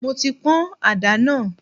Mo ti pọn ada náà.